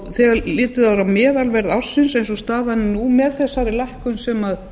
þegar litið er á meðalverð ársins eins og staðan er nú með þessari lækkun sem